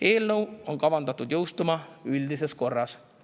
Eelnõu on kavandatud jõustuma üldises korras.